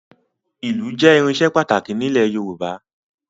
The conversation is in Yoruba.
Ìlù jẹ́ irinṣẹ́ pàtàkì nílẹ̀ Yorùbá